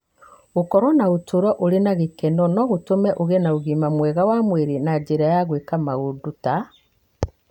Gũkorũo na ũtũũro ũrĩ na gĩkeno no gũtũme ũgĩe na ũgima mwega wa mwĩrĩ na njĩra ya gwĩka maũndũ ta: